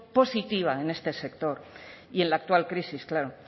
positiva en este sector y en la actual crisis claro